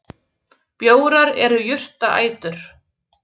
Bjórar eru jurtaætur.